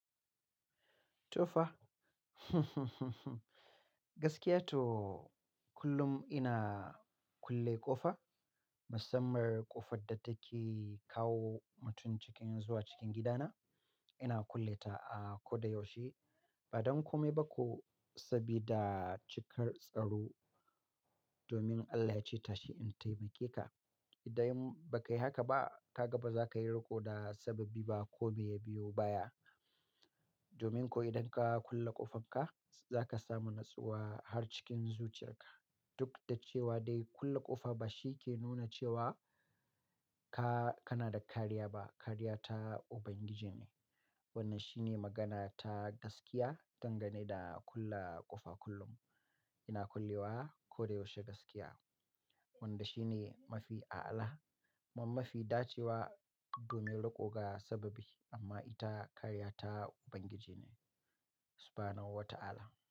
Tofa kullum ina kulle ƙofa. Musamman ƙofar da take kawo mutum cikin zuwa cikin gidana, ina kulle ta a ko da yaushe. Ba don kome ba ko, sabida cikar tsaro. Domin Allah yace tashi in taimake ka. Idan bai kai haka ba, ka gaba za ka yi riƙo da sababi ba kome ya biyo baya. Domin ko idan ka kulle ƙofan ka, za ka samu nutsuwa har cikin zuciyar ka. Duk da cewa dai kulle ƙofa ba shi ke nuna cewa ka, kana da kariya ba. Kariya ta Ubangiji ne. Wannan shi ne magana ta gaskiya dangane da kulle ƙofa kullum. Ina kulle wa ko da yaushe gaskiya. Wanda shi ne mafi a'ala kuma mafi dacewa domin riƙo ga sababi. Amma ita kariya ta Ubangiji ne. Subhanallah wa ta'ala.